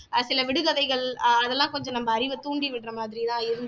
ஆஹ் சில விடுகதைகள் அஹ் அதெல்லாம் கொஞ்சம் நம்ம அறிவை தூண்டி விடுற மாதிரி எல்லாம் இருந்து